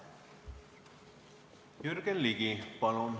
Jürgen Ligi, palun!